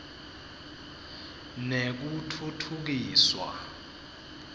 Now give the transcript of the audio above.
nekutfutfukiswa